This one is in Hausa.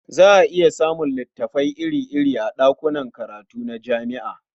Za a iya samun littafai iri-iri a ɗakunan karatu na jami'a.